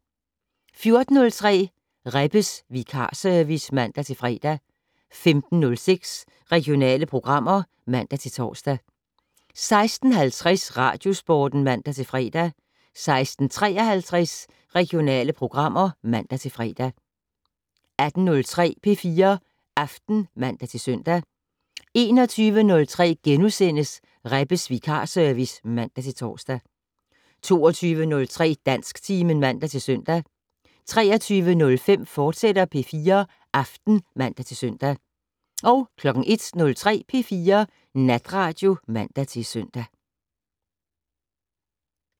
14:03: Rebbes vikarservice (man-fre) 15:06: Regionale programmer (man-tor) 16:50: Radiosporten (man-fre) 16:53: Regionale programmer (man-fre) 18:03: P4 Aften (man-søn) 21:03: Rebbes vikarservice *(man-tor) 22:03: Dansktimen (man-søn) 23:05: P4 Aften, fortsat (man-søn) 01:03: P4 Natradio (man-søn)